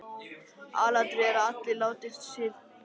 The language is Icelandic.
Aðalatriðið er að allir láti til sín taka.